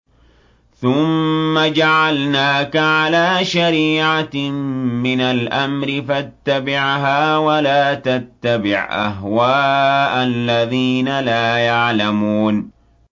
ثُمَّ جَعَلْنَاكَ عَلَىٰ شَرِيعَةٍ مِّنَ الْأَمْرِ فَاتَّبِعْهَا وَلَا تَتَّبِعْ أَهْوَاءَ الَّذِينَ لَا يَعْلَمُونَ